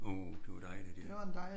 Uh det var dejligt ja